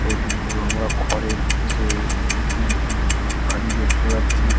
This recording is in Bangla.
এমনীও আমরা খড়ের ইসে উঁচু উঁচু বেশ বাড়ি দেখতে পাচ্ছি।